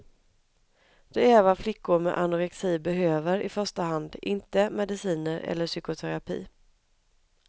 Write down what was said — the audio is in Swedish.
Det är vad flickor med anorexi behöver i första hand, inte mediciner eller psykoterapi.